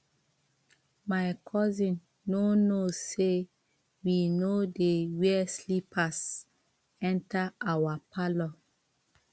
my cousin no know say we no dey wear slippers enter our parlour